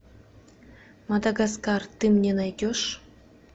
мадагаскар ты мне найдешь